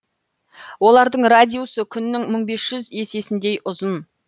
олардың радиусы күннің мың бес жүз есесіндей ұзын